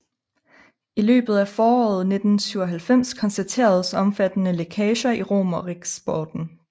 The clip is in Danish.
I løbet af foråret 1997 konstateredes omfattende lækager i Romeriksporten